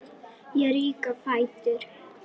Ég rýk á fætur.